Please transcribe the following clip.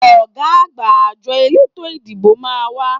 Ọ̀gá àgbà àjọ eleto ìdìbò máa ń wà